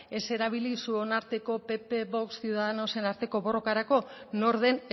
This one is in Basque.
ez erabili zuon arteko pp vox ciudadanosen arteko borrokarako nor den